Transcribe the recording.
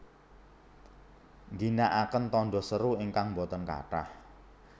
Ngginakaken tanda seru ingkang boten kathah